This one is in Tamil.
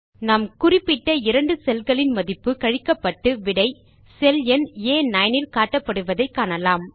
நாம் குறிப்பிட்ட இரண்டு செல் களின் மதிப்பு கழிக்கப்பட்டு விடை செல் எண் ஆ9 இல் காட்டப்படுவதை காணலாம்